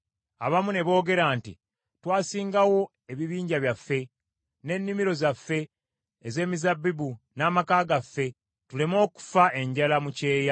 Abamu ne boogera nti, “Twasingawo ebibanja byaffe, n’ennimiro zaffe ez’emizabbibu n’amaka gaffe tuleme okufa enjala mu kyeya.”